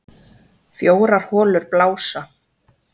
Fjórar holur blása